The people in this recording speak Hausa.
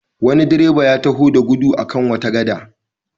Wani direba ya taho da gudu a kan wata gada.